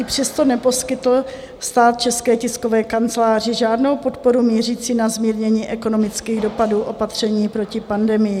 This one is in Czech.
I přesto neposkytl stát České tiskové kanceláři žádnou podporu mířící na zmírnění ekonomických dopadů opatření proti pandemii.